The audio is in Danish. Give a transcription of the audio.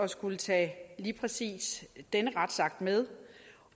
skulle tage lige præcis denne retsakt med